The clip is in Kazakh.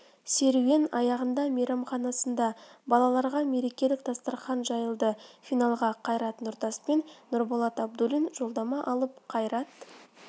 серуен аяғында мейрамханасында балаларға мерекелік дастархан жайылды финалға қайрат нұртас пен нұрболат абдуллин жолдама алып қайрат